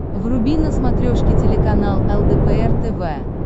вруби на смотрешке телеканал лдпр тв